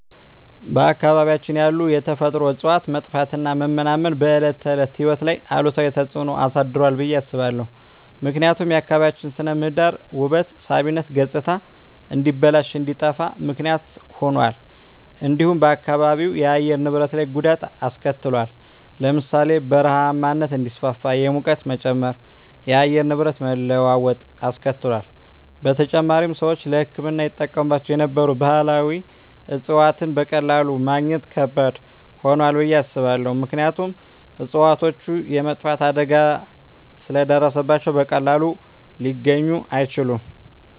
በአካባቢያችን ያሉ የተፈጥሮ እፅዋት መጥፋትና መመናመን በዕለት ተዕለት ሕይወት ላይ አሉታዊ ተጽዕኖ አሳድሯል ብየ አስባለሁ። ምክንያቱም የአካባቢያችን ስነ ምህዳር ውበት ሳቢነት ገፅታ እንዲበላሽ እንዲጠፋ ምክንያት ሁኗል። እንዲሁም በአካባቢው የአየር ንብረት ላይ ጉዳት አሰከትሏል ለምሳሌ ( በረሃማነት እንዲስፋፋ፣ የሙቀት መጨመር፣ የአየር ንብረት መለዋወጥ አስከትሏል። በተጨማሪም፣ ሰዎች ለሕክምና ይጠቀሙባቸው የነበሩ ባህላዊ እፅዋትን በቀላሉ ማግኘት ከባድ ሆኗል ብየ አስባለሁ። ምክንያቱም እፅዋቶቹ የመጥፋት አደጋ ስለ ደረሰባቸው በቀላሉ ሊገኙ አይችሉም።